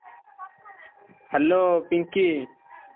Hello Pinki.